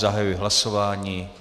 Zahajuji hlasování.